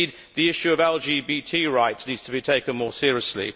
the issue of LGBT rights also needs to be taken more seriously.